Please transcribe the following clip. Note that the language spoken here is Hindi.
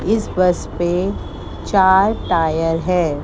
इस बस पे चार टायर है।